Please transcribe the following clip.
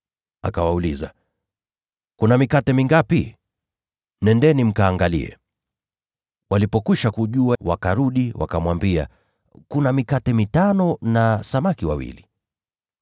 Akawauliza, “Kuna mikate mingapi? Nendeni mkaangalie.” Walipokwisha kujua wakarudi, wakamwambia, “Kuna mikate mitano na samaki wawili.”